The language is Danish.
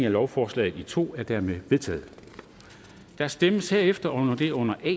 af lovforslaget i to er dermed vedtaget der stemmes herefter om det under a